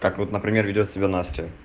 так вот например ведёт себя настя